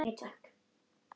Eigum við að skella okkur?